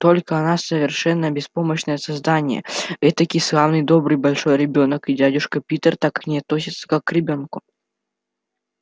только она совершенно беспомощное создание этакий славный добрый большой ребёнок и дядюшка питер так к ней и относится как к ребёнку